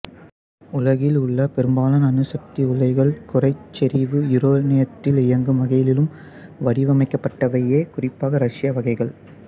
உலகிலுள்ள பெரும்பாலான அணு சக்தி உலைகள் குறை செறிவு யுரேனியத்தில் இயங்கும் வகையிலும் வடிவமைக்கப்பட்டவையே குறிப்பாக ரஸ்ய வகைகள்